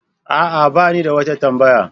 A'a, ba ni da wata tambaya.